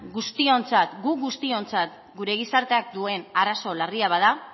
gu guztiontzat gure gizarteak duen arazo larria bada